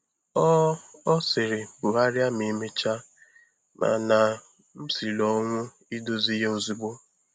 Ọ Ọ sịrị, “Bugharịa ma emechaa,” mana m siri ọnwụ idozi ya ozugbo.